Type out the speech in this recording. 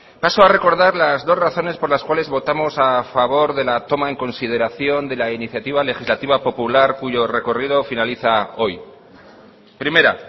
paso a recordar las dos razones por las cuales votamos a favor de la toma en consideración de la iniciativa legislativa popular cuyo recorrido finaliza hoy primera